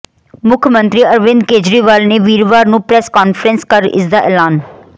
ਮੁੱਖ ਮੰਤਰੀ ਅਰਵਿੰਦ ਕੇਜਰੀਵਾਲ ਨੇ ਵੀਰਵਾਰ ਨੂੰ ਪ੍ਰੈਸ ਕਾਨਫਰੰਸ ਕਰ ਇਸਦਾ ਐਲਾਨ